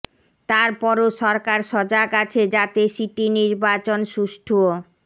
তারপরও সরকার সজাগ আছে যাতে সিটি নির্বাচন সুষ্ঠু ও